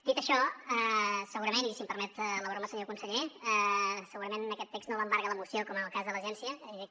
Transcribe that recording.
dit això segurament i si em permet la broma senyor conseller segurament en aquest text no m’embarga l’emoció com en el cas de l’agència és a dir que